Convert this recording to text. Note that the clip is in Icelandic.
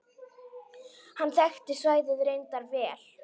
Hann þekkti svæðið reyndar vel.